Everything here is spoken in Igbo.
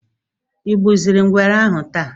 ịgbuziri ngwere ahụ taa?